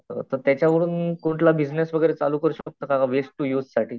तर त्याच्यावरून कुठला बिझनेस वगैरे चालू करू शकतो का वेस्ट टू यूज साठी?